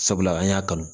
Sabula an y'a kanu